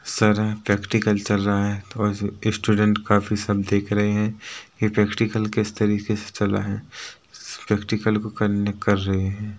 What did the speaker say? Sir है practical चल रहा है और स्टूडेंट काफी सब देख रहे हैं की प्रैक्टिकल किस तरीके से चल रहा है प्रैक्टिकल को करने कर रहे हैं।